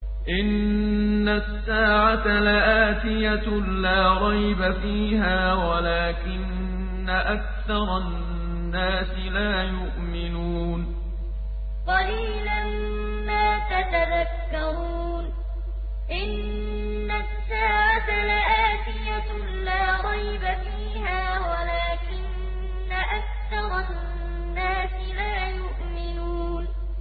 إِنَّ السَّاعَةَ لَآتِيَةٌ لَّا رَيْبَ فِيهَا وَلَٰكِنَّ أَكْثَرَ النَّاسِ لَا يُؤْمِنُونَ إِنَّ السَّاعَةَ لَآتِيَةٌ لَّا رَيْبَ فِيهَا وَلَٰكِنَّ أَكْثَرَ النَّاسِ لَا يُؤْمِنُونَ